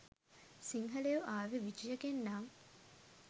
සිංහලයෝ ආවේ විජයගෙන් නම්